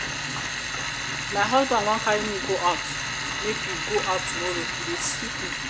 my husband wan carry me go out me go out tomorrow e dey sweet me.